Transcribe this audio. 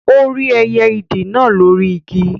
Ó rí ẹyẹ ìdì náà lóri Igi